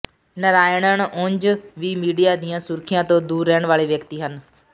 ਨਾਰਾਇਣਨ ਉਂਝ ਵੀ ਮੀਡੀਆ ਦੀਆਂ ਸੁਰਖੀਆਂ ਤੋਂ ਦੂਰ ਰਹਿਣ ਵਾਲੇ ਵਿਅਕਤੀ ਹਨ